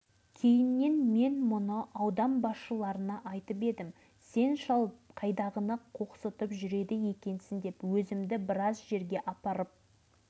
сонымен қойшы полигонға телефон шалдық одан арнайы адамдар келіп бұл ашық сынақ кезінде жарылмай түскен сутегі бомбасының бір